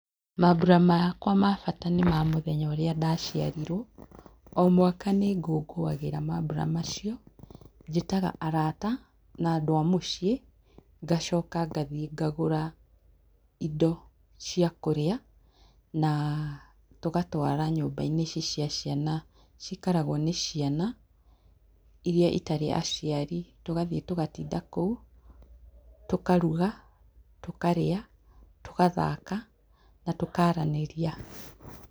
Mambura makwa mabata nĩmamũthenya ũrĩa ndaciarirwo. O mwaka nĩngũngũagĩra mambũra macio. Njĩtaga arata na andũ a mũciĩ. Ngacoka ngathiĩ ngagũra indo cia kũrĩa na tũgatwara nyũmba-inĩ cia ciana, cikaragwo nĩ ciana iria itarĩ aciari, tũgathiĩ tũgatinda kũu. Tũkaruga, tũkarĩa tũgathaka na tũkaaranĩria.